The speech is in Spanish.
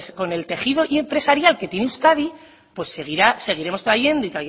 con el tejido empresarial que tiene euskadi pues seguiremos trayendo y